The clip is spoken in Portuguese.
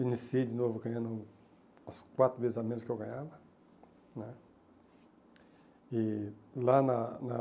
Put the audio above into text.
Iniciei de novo ganhando as quatro vezes a menos que eu ganhava né. E lá na na